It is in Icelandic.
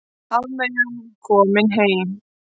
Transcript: Hafmeyjan komin heim